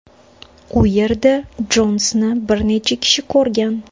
U yerda Jonsni bir necha kishi ko‘rgan.